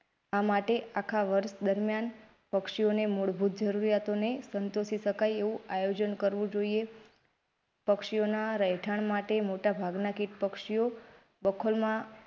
આ માટે આખા વર્ષ દરમિયાન પક્ષીઓને મૂળભૂત જરૂરિયાતોને સંતોષી શકાય એવું આયોજન કરવું જોઈએ પક્ષીઓના રહેઠાણ માટે મોટા ભાગના કીટ પક્ષીઓ બખોલ માં,